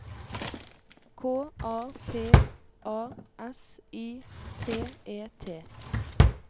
K A P A S I T E T